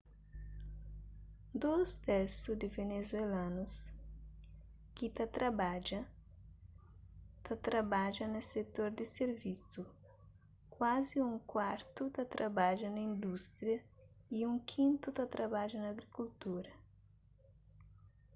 dôs tersu di venezuelanus ki ta trabadja ta trabadja na setor di sirvisu kuazi un kuartu ta trabadja na indústria y un kintu ta trabadja na agrikultura